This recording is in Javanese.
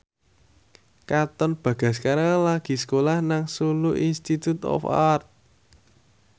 Katon Bagaskara lagi sekolah nang Solo Institute of Art